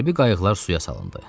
Hərbi qayiqlar suya salındı.